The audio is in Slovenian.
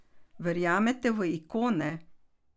Verjamete v ikone?